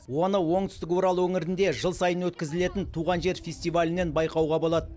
оны оңтүстік урал өңірінде жыл сайын өткізілетін туған жер фестивалінен байқауға болады